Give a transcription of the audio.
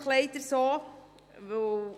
Das ist nun eben leider einfach so.